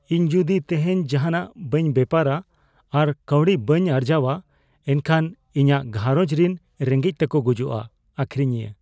ᱤᱧ ᱡᱩᱫᱤ ᱛᱮᱦᱮᱧ ᱡᱟᱦᱟᱱᱟᱜ ᱵᱟᱹᱧ ᱵᱮᱯᱟᱨᱼᱟ ᱟᱨ ᱠᱟᱹᱣᱰᱤ ᱵᱟᱹᱧ ᱟᱨᱡᱟᱣᱼᱟ ᱮᱱᱠᱷᱟᱱ ᱤᱧᱟᱜ ᱜᱷᱟᱨᱚᱸᱡᱽ ᱨᱤᱱ ᱨᱮᱸᱜᱮᱡ ᱛᱮᱠᱚ ᱜᱩᱡᱩᱜᱼᱟ ᱾ (ᱟᱹᱠᱷᱨᱤᱧᱤᱭᱟᱹ)